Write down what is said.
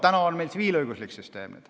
Praegu on meil tsiviilõiguslik süsteem.